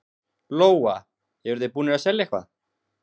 Lóa: Eruð þið búnir að selja eitthvað?